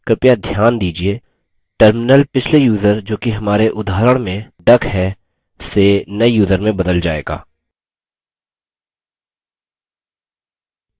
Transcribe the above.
कृपया ध्यान दीजिये terminal पिछले यूज़र जोकि हमारे उदाहरण में duck है से नये यूज़र में बदल जाएगा